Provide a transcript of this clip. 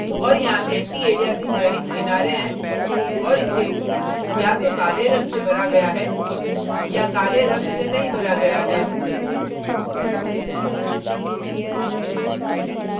और यहाँ antialiasing रहित किनारे हैं और इसे या तो काले रंग से भरा गया है या काले रंग से नहीं भरा गया है